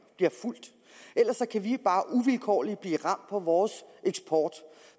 bliver fulgt ellers kan vi jo bare vilkårligt blive ramt på vores eksport